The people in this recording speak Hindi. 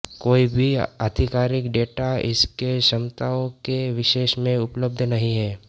कोई भी आधिकारिक डेटा इसके क्षमताओं के विषय में उपलब्ध नहीं है